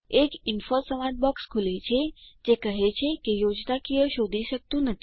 એક ઇન્ફો સંવાદ બોક્સ ખુલે છે જે કહે છે કે તે યોજનાકીય શોધી શકતું નથી